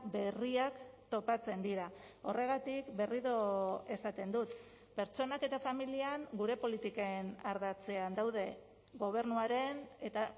berriak topatzen dira horregatik berriro esaten dut pertsonak eta familian gure politiken ardatzean daude gobernuaren eta